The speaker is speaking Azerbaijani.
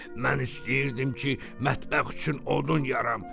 Mən istəyirdim ki, mətbəx üçün odun yaram.